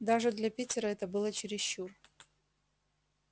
даже для питера это было чересчур